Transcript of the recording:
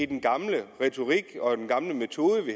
den gamle retorik og den gamle metode vi